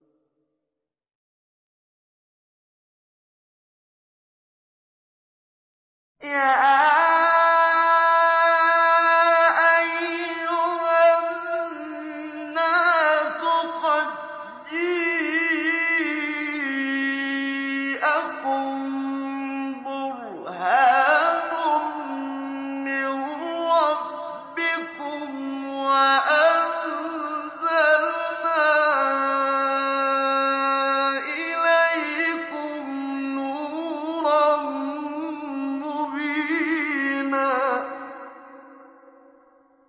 يَا أَيُّهَا النَّاسُ قَدْ جَاءَكُم بُرْهَانٌ مِّن رَّبِّكُمْ وَأَنزَلْنَا إِلَيْكُمْ نُورًا مُّبِينًا